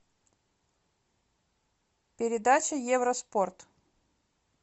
передача евроспорт